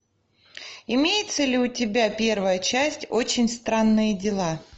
имеется ли у тебя первая часть очень странные дела